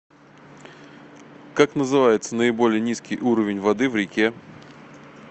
как называется наиболее низкий уровень воды в реке